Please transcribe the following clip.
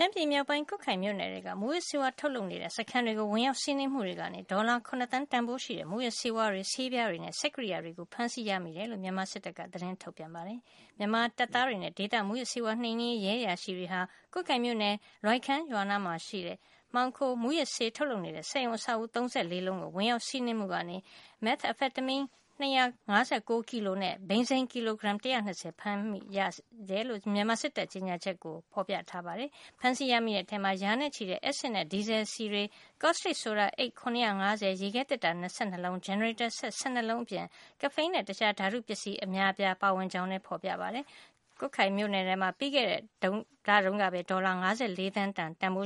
မ်းပြည်မြောက်ပိုင်း ကွတ်ခိုင်မြို့နယ်ထဲက မူးယစ်ဆေးဝါး ထုတ်လုပ်နေတဲ့ စခန်းတွေကို ဝင်ရောက်စီးနင်းမှုတွေကနေ ဒေါ်လာ ၇ သန်း တန်ဖိုးရှိတဲ့ မူးယစ်ဆေးဝါးတွေ၊ ဆေးပြားတွေနဲ့ စက်ကရိယာတွေကို ဖမ်းဆီးရမိခဲ့တယ်လို့ မြန်မာစစ်တပ်က သတင်းထုတ်ပြန် ပါတယ်။ မြန်မာတပ်သားတွေနဲ့ ဒေသ မူးယစ်ဆေးဝါးနှိမ်နင်းရေး ရဲအရာရှိတွေက ကွတ်ခိုင်မြို့နယ် လွိုင်ခန်းရွာနားမှာ မှောင်ခိုမူးယစ်ဆေး ထုတ်လုပ်နေတဲ့ စက်ရုံ အဆောက်အဦး ၃၄ လုံးကို ဝင်ရောက်စီးနင်းမှုကနေ methamphetamine ၂၅၉ ကီလိုဂရမ်နဲ့ ဘိန်းစိမ်း ကီလိုဂရမ် ၁၂၀ ဖမ်းဆီးရမိခဲ့တယ်လို့ မြန်မာစစ်တပ်ရဲ့ ကြေညာချက်ကို ဖေါ်ပြထားပါတယ်။ ဖမ်းဆီးရမိတဲ့ထဲမှာ ရာနဲ့ချီတဲ့ဲ့ အက်စစ်နဲ့ ဒီဇယ်စည်တွေ ကော့စတစ်ဆိုဒါ အိတ် ၇၅၀၊ ရေခဲသေတ္တာ ၂၂ လုံး၊ ဂျင်နရေတာစက် ၁၂ လုံးအပြင် ကဖိန်းနဲ့တခြားဓါတုပစ္စည်း အများအပြား ပါဝင်ကြောင်း ဖေါ်ပြထားပါတယ်။ ကွတ်ခိုင်မြို့နယ်ထဲမှာ ပြီးခဲ့တဲ့လတုန်းကပဲ ဒေါ်လာ ၅၄ သန်းလောက် တန်ဖို